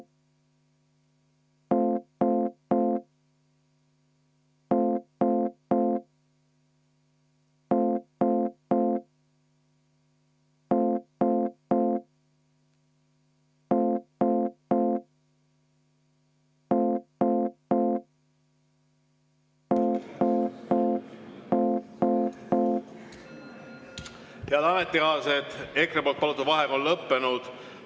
Head ametikaaslased, EKRE poolt palutud vaheaeg on lõppenud.